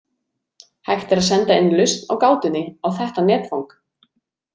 Hægt er að senda inn lausn á gátunni á þetta netfang.